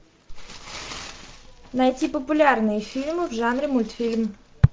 найти популярные фильмы в жанре мультфильм